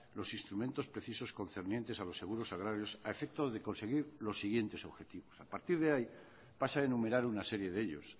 los instrumentos precisos concernientes a los seguros agrarios a efecto de conseguir los siguientes objetivos a partir de ahí pasa a enumerar una serie de ellos